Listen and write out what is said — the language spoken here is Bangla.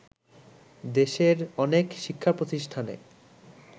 দেশের অনেক শিক্ষাপ্রতিষ্ঠানে